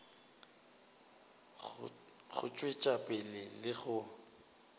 go tšwetša pele le go